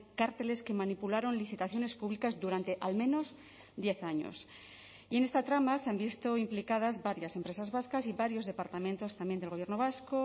cárteles que manipularon licitaciones públicas durante al menos diez años y en esta trama se han visto implicadas varias empresas vascas y varios departamentos también del gobierno vasco